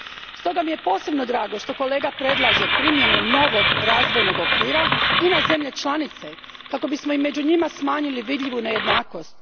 Stoga mi je posebno drago što kolega predlaže primjenu novog razvojnog okvira i na zemlje članice kako bismo i među njima smanjili vidljivu nejednakost.